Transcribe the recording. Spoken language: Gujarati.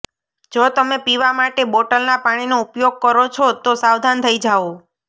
જો તમે પીવા માટે બોટલના પાણીનો ઉપયોગ કરો છો તો સાવધાન થઇ જાઓ